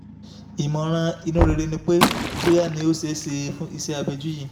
ìmọ̀ràn inú rere ni pé bóyá ni ó ṣeé ṣe fún ìṣẹ́ abẹ́jú yìí